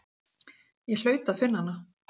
Ég hlaut að finna hana.